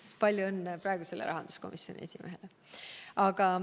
Siis palju õnne praegusele rahanduskomisjoni esimehele!